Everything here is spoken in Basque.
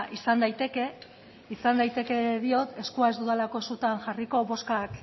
izan daiteke izan daiteke diot eskua ez dudalako sutan jarriko bozkak